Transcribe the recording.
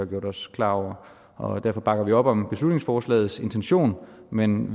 gjort os klar over derfor bakker vi op om beslutningsforslagets intention men